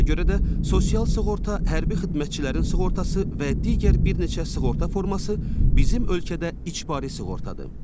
Ona görə də sosial sığorta, hərbi xidmətçilərin sığortası və digər bir neçə sığorta forması bizim ölkədə icbari sığortadır.